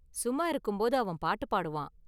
சும்மா இருக்கும்போது அவன் பாட்டு பாடுவான்.